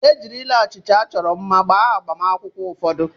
E jirila achịcha achọrọ mma gbaa agbamakwụkwọ ụfọdụ.